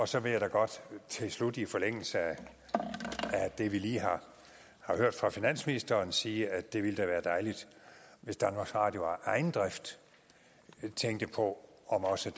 så vil jeg godt til slut i forlængelse af det vi lige har hørt fra finansministeren sige at det da ville være dejligt hvis danmarks radio af egen drift tænkte på om også